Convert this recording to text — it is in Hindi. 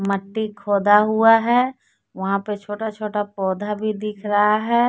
मट्टी खोदा हुआ है वहां पे छोटा छोटा पौधा भी दिख रहा है।